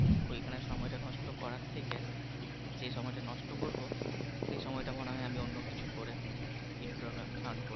ওইখানে সময়টা নষ্ট করার থেকে যে সময়টা নষ্ট করবো সেই সময়টা আমি মনে হয় অন্য কিছু করে কিছু টাকা earn করব।